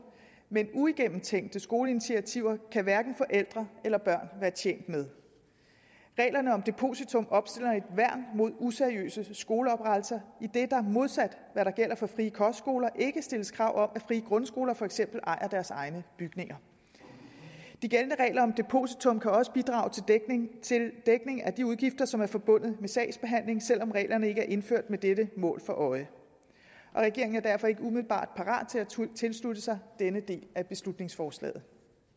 men uigennemtænkte skoleinitiativer kan hverken forældre eller børn være tjent med reglerne om depositum opstiller et værn mod useriøse skoleoprettelser idet der modsat hvad der gælder for frie kostskoler ikke stilles krav om at frie grundskoler for eksempel ejer deres egne bygninger de gældende regler om depositum kan også bidrage til dækning til dækning af de udgifter som er forbundet med sagsbehandling selv om reglerne ikke er indført med dette mål for øje regeringen er derfor ikke umiddelbart parat til at tilslutte sig denne del af beslutningsforslaget